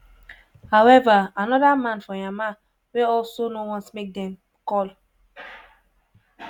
however anoda man for myanmar wey also no want make dem call